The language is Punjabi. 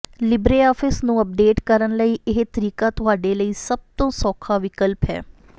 ਲਿਬਰੇਆਫਿਸ ਨੂੰ ਅਪਡੇਟ ਕਰਨ ਲਈ ਇਹ ਤਰੀਕਾ ਤੁਹਾਡੇ ਲਈ ਸਭ ਤੋਂ ਸੌਖਾ ਵਿਕਲਪ ਹੈ